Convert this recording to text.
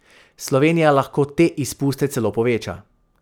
Slovenija lahko te izpuste celo poveča.